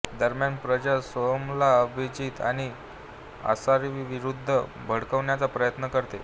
दरम्यान प्रज्ञा सोहमला अभिजीत आणि आसावरीविरुद्ध भडकवण्याचा प्रयत्न करते